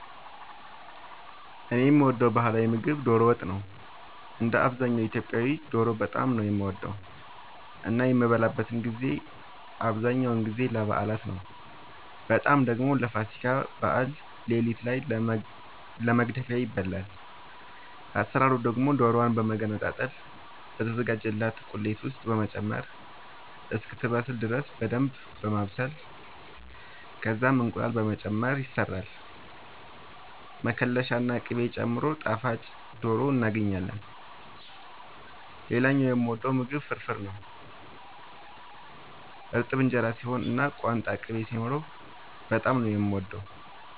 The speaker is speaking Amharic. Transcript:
እኔ የምወደው ባህላዊ ምግብ ዶሮ ወጥ ነው። እንደ አብዛኛው ኢትዮጵያዊ ዶሮ በጣም ነው የምወደው እና የሚበላበትን ጊዜ አብዛኛውን ጊዜ ለበዓላት ነው በጣም ደግሞ ለፋሲካ በዓል ሌሊት ላይ ለመግደፊያ ይበላል። አሰራሩ ደግሞ ዶሮዋን በመገነጣጠል በተዘጋጀላት ቁሌት ውስጥ በመጨመር እስክትበስል ድረስ በደንብ በማብሰል ከዛም እንቁላል በመጨመር ይሰራል መከለሻ ና ቅቤ ጨምሮ ጣፋጭ ዶሮ እናገኛለን። ሌላኛው የምወደው ምግብ ፍርፍር ነው። እርጥብ እንጀራ ሲሆን እና ቋንጣ ቅቤ ሲኖረው በጣም ነው የምወደው።